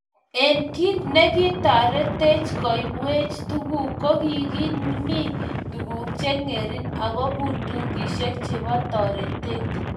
Eng kit negitaretech koibwech tuguk, kogimi tuguk chengering ago bundukishek chebo toretet